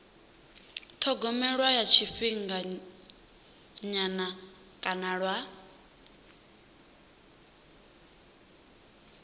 thogomelwa lwa tshifhinganyana kana lwa